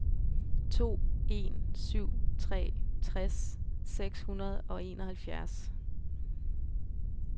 to en syv tre tres seks hundrede og enoghalvfjerds